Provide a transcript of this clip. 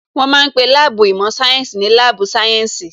Wọ́n ma ń pe láàbù īmò sáyénsī ní láàbù sáyẹ́ǹsì